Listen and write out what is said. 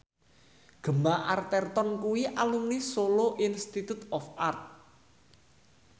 Gemma Arterton kuwi alumni Solo Institute of Art